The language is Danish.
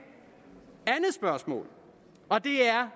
andet spørgsmål og det er